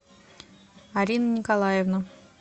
арина николаевна